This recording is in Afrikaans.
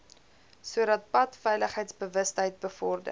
sodat padveiligheidsbewustheid bevorder